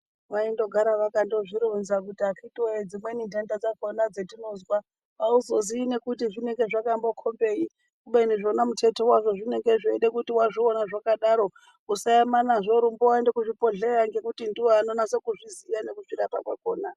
Vaindogara vakandozvironza kuti akiti woye dzimweni nhenda dzakona dzetinozwa hauzoziyi nekuti zvinonga zvakambokombei kubeni wena muteti wazvo zvinge zveide kuti kana wazviona zvakadaro usaema nazvo rumba woende kuzvibhehlera ngekuti ndivo vanonase kuzviziya nekuzvara kwakona.